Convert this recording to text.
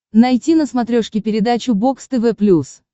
найти на смотрешке передачу бокс тв плюс